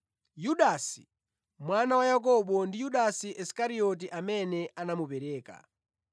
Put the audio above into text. Yudasi mwana wa Yakobo ndi Yudasi Isikarioti amene anamupereka.